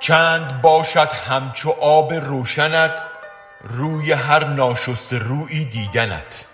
چند باشد همچو آب روشنت روی هر ناشسته رویی دیدنت